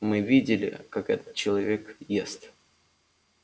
мы видели как этот человек ест